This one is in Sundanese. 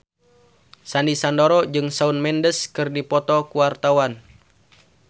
Sandy Sandoro jeung Shawn Mendes keur dipoto ku wartawan